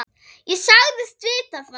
Ég sagðist vita það.